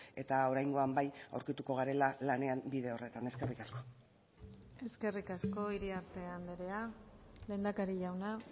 eta oraingoan bai aurkituko garela lanean bide horretan eskerrik asko eskerrik asko iriarte andrea lehendakari jauna